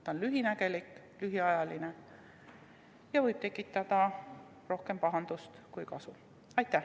See on lühinägelik, lühiajaline ja võib tekitada rohkem pahandust kui kasu.